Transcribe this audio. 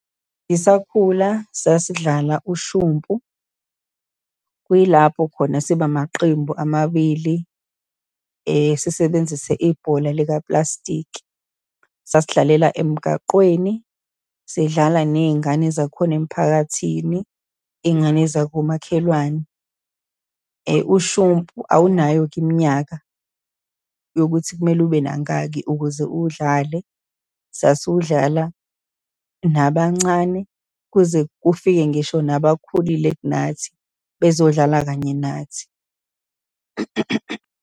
Ngisakhula, sasidlala ushumpu, kuyilapho khona siba amaqembu amabili, sisebenzise ibhola likapulasitiki. Sasidlalela emgaqweni, sidlala ney'ngane zakhona emphakathini, iy'ngane zakomakhelwane. Ushumpu awunayo-ke iminyaka yokuthi kumele ube nangaki ukuze uwudlale, sasiwudlala nabancane, kuze kufike ngisho nabakhulile kunathi, bezodlala kanye nathi.